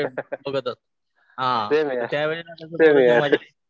Same here same here.